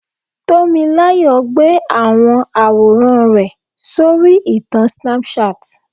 Tomilayo gbé àwọn àwòrán rẹ̀ sórí ìtàn Snapchat.